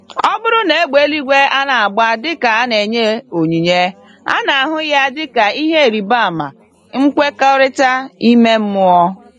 Ọbụrụ na égbè eluigwe anagba dịka a na-enye ònyìnyé, ana-ahụ yá dịka ìhè ịrịba ama nkwekọrịta ime mmụọ.